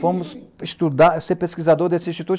Fomos estudar, ser pesquisador desse instituto.